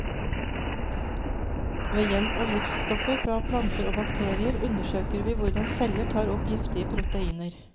Ved hjelp av giftstoffer fra planter og bakterier undersøker vi hvordan celler tar opp giftige proteiner.